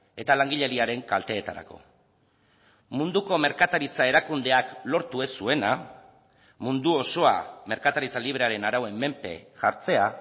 eta langileriaren kalteetarako munduko merkataritza erakundeak lortu ez zuena mundu osoa merkataritza librearen arauen menpe jartzea